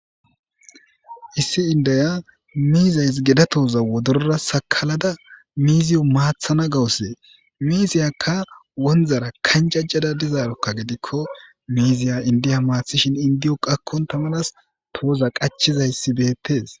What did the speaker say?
issi indaya miizays geda tooza wodorora sakalada miziyo maathana gawusee miisiyakka wondara kanjajjada dizaarokka gidikko miiziya indiya maathishin indiyo qakkon tamanas tooza qachizayssi beettes